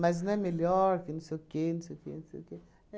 não é melhor que não sei o quê, não sei o quê, não sei o quê.